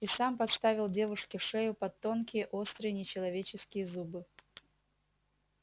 и сам подставил девушке шею под тонкие острые нечеловеческие зубы